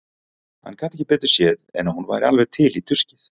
Hann gat ekki betur séð en að hún væri alveg til í tuskið.